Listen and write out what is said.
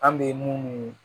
An bɛ mun